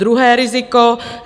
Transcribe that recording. Druhé riziko.